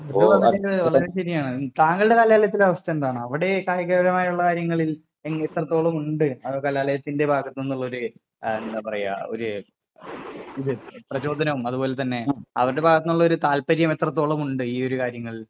വളരെ ശരിയാണ്. താങ്കളുടെ കലാലയത്തിന്റെ അവസ്ഥ എന്താണ്? അവിടെ കായിക പരമായ കാര്യങ്ങളിൽ എത്രത്തോളം ഉണ്ട് അഹ് കലാലയത്തിന്റെ ഭാഗത്ത് നിന്നുള്ളൊരു എഹ് എന്താ പറയാ ഒരു പ്രചോദനവും അത് പോലെ തന്നെ അവരുടെ ഭാഗത്ത് നിന്നുള്ളൊരു താല്പര്യം എത്രത്തോളം ഉണ്ട് ഈ ഒരു കാര്യങ്ങളിൽ?